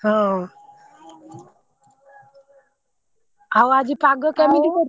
ହଁ ଆଉ ଆଜି ପାଗ କେମିତି କରିଛି?